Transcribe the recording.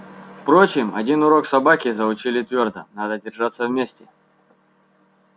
впрочем один урок собаки заучили твёрдо надо держаться вместе